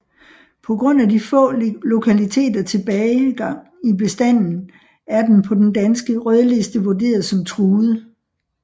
På grund af de få lokaliteter tilbage gang i bestanden er den på Den danske Rødliste vurderet som Truet